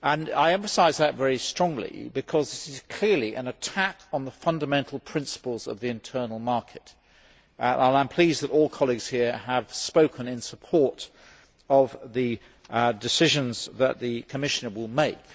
I emphasise that very strongly, because this is clearly an attack on the fundamental principles of the internal market. I am pleased that all colleagues here have spoken in support of the decisions that the Commissioner will make.